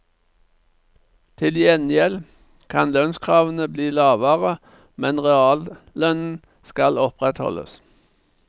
Til gjengjeld kan lønnskravene bli lavere, men reallønnen skal opprettholdes.